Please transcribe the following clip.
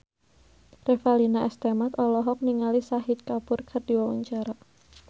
Revalina S. Temat olohok ningali Shahid Kapoor keur diwawancara